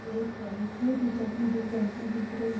यह एक बैंक है दो चार लेडीज बैंक में दिख रही--